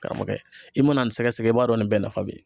Karamɔgɔkɛ. I mana nin sɛgɛsɛgɛ ,i b'a dɔn nin bɛɛ nafa be yen.